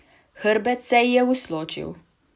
Hrbet se ji je usločil.